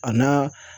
A n'a